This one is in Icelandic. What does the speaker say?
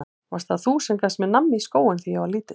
Varst það þú sem gafst mér nammi í skóinn þegar ég var lítill?